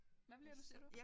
Hvad bliver du siger du